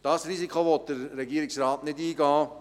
Dieses Risiko will der Regierungsrat nicht eingehen.